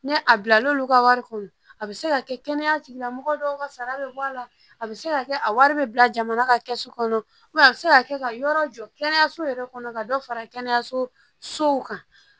Ni a bila l'olu ka wari kɔnɔ a bɛ se ka kɛ kɛnɛya tigilamɔgɔ dɔw ka sara bɛ bɔ a la a bɛ se ka kɛ a wari bɛ bila jamana ka kɛsu kɔnɔ a bɛ se ka kɛ ka yɔrɔ jɔ kɛnɛyaso yɛrɛ kɔnɔ ka dɔ fara kɛnɛyasow kan